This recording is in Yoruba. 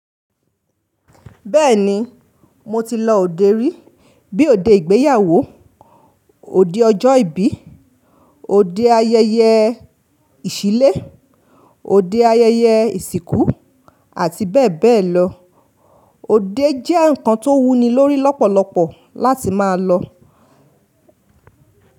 Bẹ́ẹ̀ni, mo ti lọ òde rí, bíi òde ìgbéyàwó, òde ọjọ́ ìbí, òde ayẹyẹ ìṣílé, òde ayẹyẹ ìsìnkú, àti bẹ́ẹ̀ bẹ́ẹ̀ lọ. Òde jẹ́ nǹkan tó wúni lórí lọ́pọ̀lọpọ̀ láti máa lọ.